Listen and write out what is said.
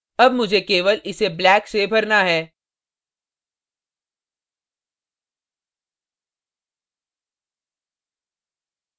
अब मुझे केवल इसे black से भरना है